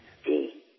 જી